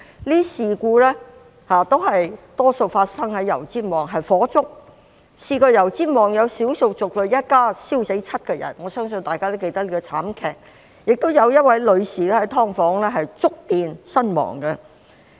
這些事故大多發生在油尖旺區，有的是火災，曾經有少數族裔一家燒死7個人，我相信大家也記得這個慘劇，亦有一位女士在"劏房"觸電身亡。